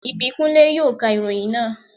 Ìbíkúnlé yóò ka ìròyìn náà